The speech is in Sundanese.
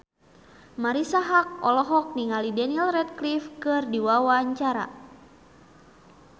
Marisa Haque olohok ningali Daniel Radcliffe keur diwawancara